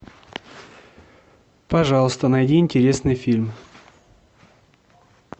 пожалуйста найди интересный фильм